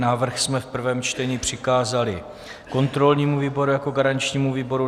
Návrh jsme v prvém čtení přikázali kontrolnímu výboru jako garančnímu výboru.